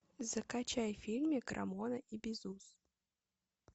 закачай фильмик рамона и бизус